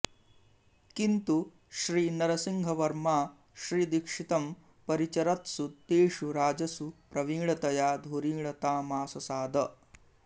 किन्तु श्रीनरसिंहवर्मा श्रीदीक्षितं परिचरत्सु तेषु राजसु प्रवीणतया धुरीणतामाससाद